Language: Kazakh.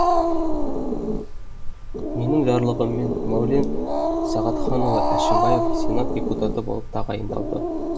менің жарлығыммен мәулен сағатханұлы әшімбаев сенат депутаты болып тағайындалды